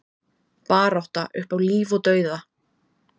Barátta upp á líf og dauða